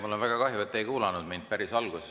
Mul on väga kahju, et te ei kuulanud mind päris alguses.